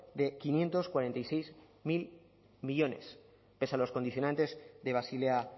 de quinientos cuarenta y seis mil millónes pese a los condicionantes de basilea